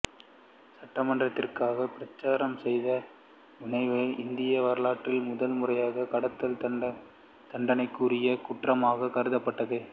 சட்ட மாற்றத்திற்காக பிரச்சாரம் செய்ததன் விளைவாக இந்திய வரலாற்றில் முதல் முறையாக கடத்தல் தண்டனைக்குரிய குற்றமாக மாற்றப்பட்டது